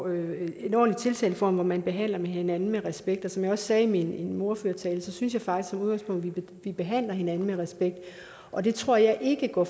at have en ordentlig tiltaleform hvor man behandler hinanden med respekt og som jeg også sagde i min ordførertale synes jeg faktisk som udgangspunkt vi behandler hinanden med respekt og det tror jeg ikke går